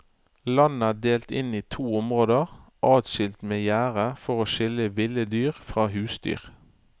Landet er delt inn i to områder adskilt med gjerde for å skille ville dyr fra husdyr.